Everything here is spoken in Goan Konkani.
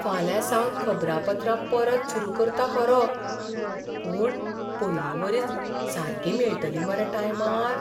फाल्यांसावन खबरापत्रां परत सुरू करता खरो, पूण पयलींवरीच सारकीं मेळटलीं मरे टायमार?